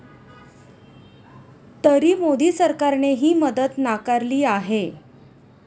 तरी मोदी सरकारने ही मदत नाकारली आहे.